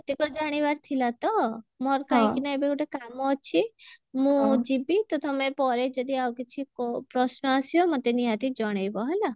ଏତକ ଜାଣିବାର ଥିଲା ତ ମୋର କାହିଁକି ନା ଏବେ ଗୋଟେ କାମ ଅଛି ମୁଁ ଯିବି ତ ତମେ ପରେ ଯଦି ଆଉ କିଛି କ ପ୍ରଶ୍ନ ଆସିବ ମୋତେ ନିହାତି ଜଣେଇବ ହେଲା